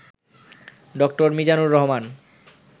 ড. মিজানুর রহমান